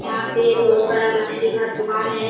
यहाँ पे बहुत बड़ा मछली का दुकान है।